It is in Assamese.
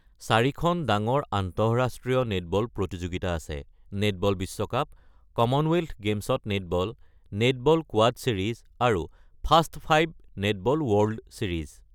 চাৰিখন ডাঙৰ আন্তঃৰাষ্ট্ৰীয় নেটবল প্ৰতিযোগিতা আছে; নেটবল বিশ্বকাপ, কমনৱেলথ গেমছত নেটবল, নেটবল কোৱাড ছিৰিজ আৰু ফাষ্ট৫ নেটবল ৱৰ্ল্ড ছিৰিজ।